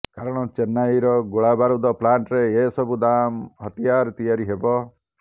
କାରଣ ଚେନ୍ନାଇର ଗୋଳାବାରୁଦ ପ୍ଲାଣ୍ଟରେ ଏସବୁ ଦାମ ହତିଆର ତିଆରି ହେବ